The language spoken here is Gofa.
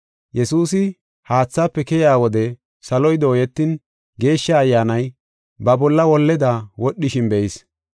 Yesuusi haathaafe keyiya wode saloy dooyetin, Geeshsha Ayyaanay ba bolla holleda wodhishin be7is.